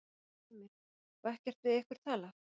Heimir: Og ekkert við ykkur talað?